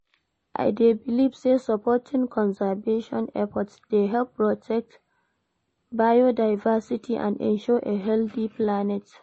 I dey believe say supporting conservation efforts dey help protect biodiversity and ensure a healthy planet.